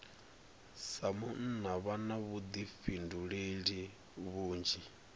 sa munna vha na vhuḓifhinduleli vhunzhi